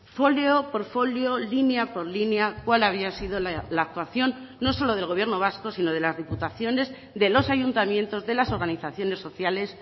folio por folio línea por línea cuál había sido la actuación no solo del gobierno vasco sino de las diputaciones de los ayuntamientos de las organizaciones sociales